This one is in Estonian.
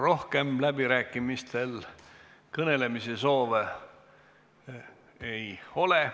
Rohkem läbirääkimistel kõnelemise soove ei ole.